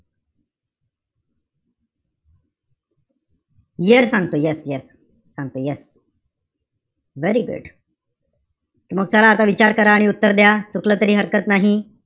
Year सांगतो, yes yes. सांगतो yes very good मग चला आता विचार करा आणि उत्तर द्या. चुकलं तरी हरकत नाही.